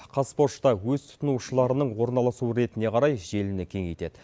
қазпошта өз тұтынушыларының орналасу ретіне қарай желіні кеңейтеді